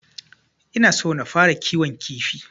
Ina so na fara kiwon kifi.